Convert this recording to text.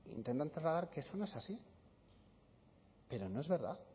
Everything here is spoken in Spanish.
intentan trasladar que eso no es así pero no es verdad